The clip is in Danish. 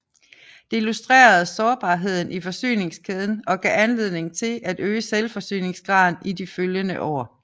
Det illustrerede sårbarheden i forsyningskæden og gav anledning til at øge selvforsyningsgraden i de følgende år